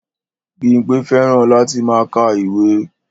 Bímpé fẹ́ràn láti máa ka ìwé